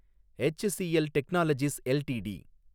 HCL technologies LTD